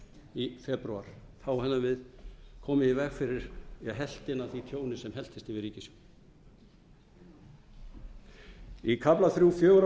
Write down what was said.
í febrúar þá hefðum við komið í veg fyrir helftina af því tjóni sem helltist yfir ríkissjóð í kafla þrjú fjögur á